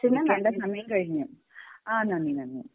വെക്കേണ്ട സമയം കഴിഞ്ഞു. ആഹ് നന്ദി നന്ദി